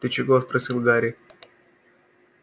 ты чего спросил гарри